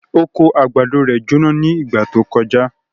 Oko àgbàdo rẹ̀ jóná ní ìgbà tó kọjá.